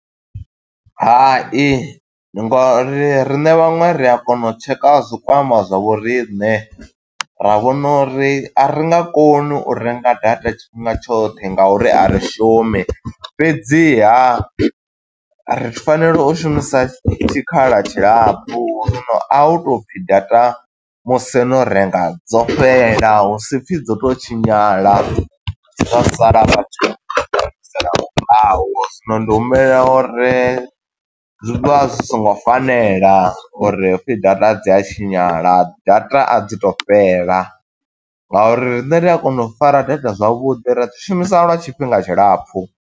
Hai, nga uri riṋe vhaṅwe ri a kona u tsheka a zwikwama zwa vho riṋe ra vhona uri, a ri nga koni u renga data tshifhinga tshoṱhe nga uri a ri shumi fhedziha ri fanela u shumisa tshikhala tshilapfu, zwino a u to pfi data musi no renga dzo fhela, hu si pfi dzo to u tshinyala. Dzo sala vhathu ndi humisela murahu, zwino ndi humbela uri, zwi vha zwi songo fanela uri hu pfi data dzi a tshinyala data a dzi to fhela, nga uri riṋe ri a kona u fara data zwavhuḓi, ra dzi shumisa lwa tshifhinga tshilapfu.